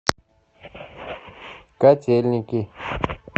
котельники